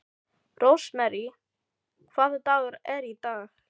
Rósmary, hvaða dagur er í dag?